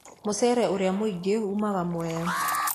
Mũcere ũrĩa mũingĩ umaga Mwea.